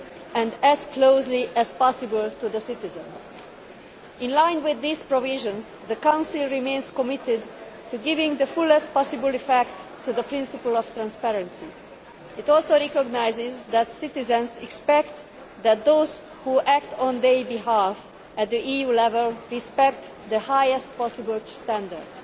and as closely as possible to the citizens. In line with these provisions, the Council remains committed to giving the fullest possible effect to the principle of transparency. It also recognises that citizens expect that those who act on their behalf at the EU level respect the highest possible standards.